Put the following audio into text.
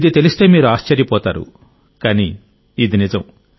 ఇది తెలిస్తే మీరు ఆశ్చర్యపోతారు కానీ ఇది నిజం